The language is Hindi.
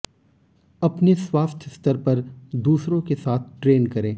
अपने स्वास्थ्य स्तर पर दूसरों के साथ ट्रेन करें